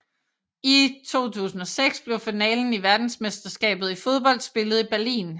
I 2006 blev finalen i verdensmesterskabet i fodbold spillet i Berlin